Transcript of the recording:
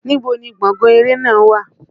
Níbo ni gbọ̀ngán eré náà wà?